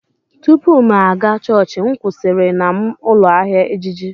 Tupu m aga chọọchị, m kwụsịrị na m ụlọ ahịa ejiji.